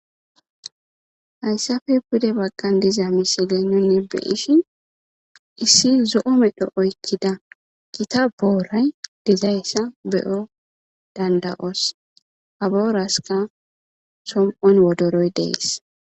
hayssafe bude baggan diza misiley nunni be ishin issi zo7o medho oykkida gita booray dizayssa beyo danda7os abooraska som7on wodoroy dees